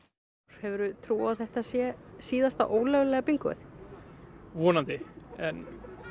hefur þú trú á að þetta sé síðasta ólöglega bingóið vonandi en